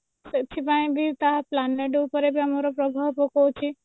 ସେଥିପାଇଁ ବି ତାହା planet ଉପରେ ବି ତାର ପ୍ରଭାବ ପକଉଚି